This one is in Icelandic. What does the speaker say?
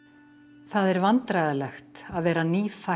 það er vandræðalegt að vera nýfætt